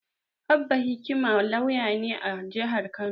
Abba Hikima lauya ne a jihar Kano.